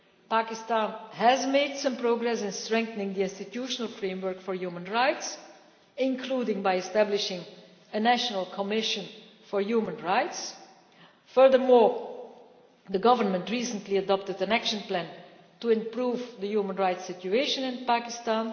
Pakistan has made some progress in strengthening the institutional framework for human rights, including by establishing a national commission for human rights. Furthermore, the government recently adopted an action plan to improve the human rights situation in Pakistan.